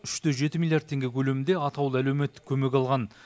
үш те жеті миллиард теңге көлемінде атаулы әлеуметтік көмек алған